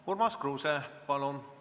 Urmas Kruuse, palun!